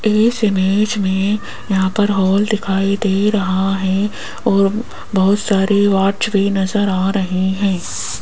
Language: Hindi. इस इमेज मे यहां पर हॉल दिखाई दे रहा है और बहोत सारी वॉच भी नज़र आ रही है।